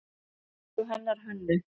Eins og hennar Hönnu.